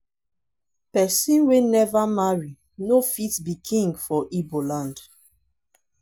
pesin wey never marry no fit be king for igbo land.